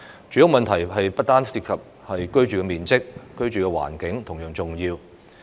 住屋問題不單涉及居住面積，居住環境同樣重要。